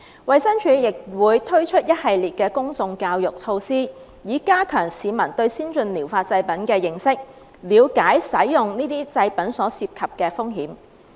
衞生署亦會推出一系列公眾教育措施，以加強市民對先進療法製品的認識，了解使用這些製品所涉及的風險。